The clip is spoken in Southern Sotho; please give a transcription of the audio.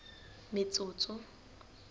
metsotso